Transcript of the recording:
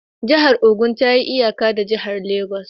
Jihar Ogun ta yi iyaka da jihar Legas